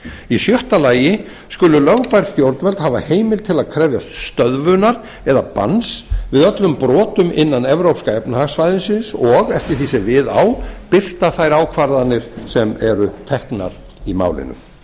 í sjötta lagi skulu lögbær stjórnvöld hafa heimild til að krefjast stöðvunar eða banns við öllum brotum innan evrópska efnahagssvæðisins og eftir því sem við á birta þær ákvarðanir sem eru teknar í málinu